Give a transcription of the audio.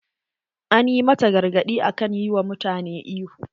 An yi mata gargadi akan yi wa mutane ihu.